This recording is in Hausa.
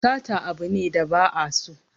Sata abu ne da ba a so